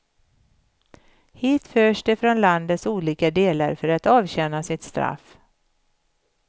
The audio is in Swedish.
Hit förs de från landets olika delar för att avtjäna sitt straff.